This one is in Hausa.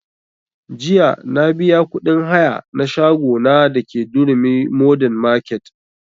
Jiya na biya kuɗin haya na shago na da ke durumi modern market